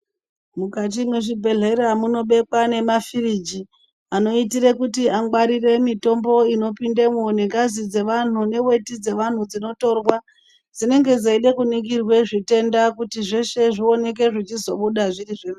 Mukati mwezvibhedhlera munobekwa nemafiriji anoitire kuti angwarire mitombo inopindemwo nengazi dzevantu neveti dzevantu dzinotorwa. Dzinenge dzeide kuningirwa zvitenda kuti zveshe zvioneke zvichizobuda zvirizvo.